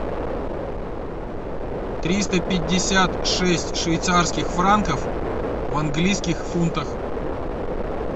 триста пятьдесят шесть швейцарских франков в английских фунтах